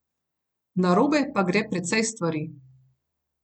Narobe pa gre precej stvari.